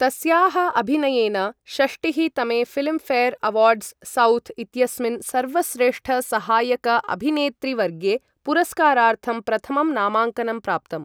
तस्याः अभिनयेन षष्टिः तमे फिल्मफेयर अवार्ड्स साउथ् इत्यस्मिन् सर्वश्रेष्ठसहायकअभिनेत्रीवर्गे पुरस्कारार्थं प्रथमं नामाङ्कनं प्राप्तम् ।